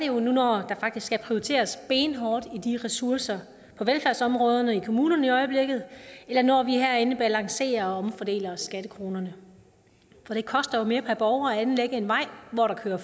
jo nu når der faktisk skal prioriteres benhårdt i de ressourcer på velfærdsområdet i kommunerne i øjeblikket eller når vi herinde balancerer og omfordeler skattekronerne for det koster jo mere per borger at anlægge en vej hvor der kører